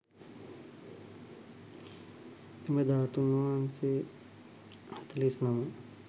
එම ධාතූන් වහන්සේ හතළිස් නම